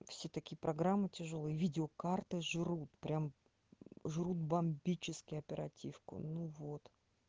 все такие программы тяжёлые видеокарты жрут прямо жрут бомбически оперативку ну вот